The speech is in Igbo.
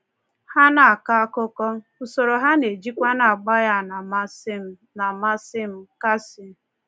Ha na-akọ akụkọ, usoro a na-ejikwa agba ya na-amasị m.” na-amasị m.” — Casey.